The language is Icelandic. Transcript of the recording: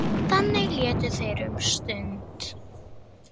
Ég sagði honum alla söguna.